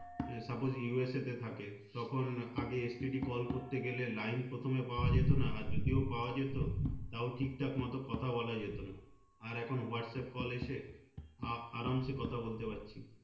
suppose USA তে থাকে তখন আগে STD call করতে গেলে line প্রথমে পাওয়া যেতো না আর যদিও পাওয়া যেত তাও ঠিকঠাক মতো কথা বলা যেতো না আর এখন হোয়াটস্যাপ call এসে আ আরামসে কথা বলতে পাচ্ছি